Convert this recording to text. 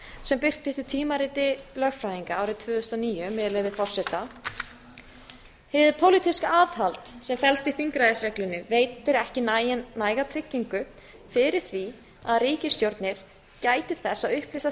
sem birtist í tímariti lögfræðinga árið tvö þúsund og níu með leyfi forseta hið pólitíska aðhald sem felst í þingræðisreglunni veitir ekki næga tryggingu fyrir því að ríkisstjórnir gæti þess að upplýsa